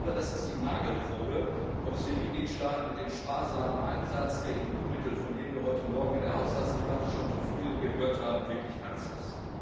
Das ist die Nagelprobe, ob es den Mitgliedstaaten mit dem sparsamen Einsatz der EU Mittel, von dem wir heute Morgen in der Haushaltsdebatte schon so viel gehört haben, wirklich ernst ist.